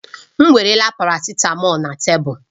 M weerela paracitamọ̀lu na tebụl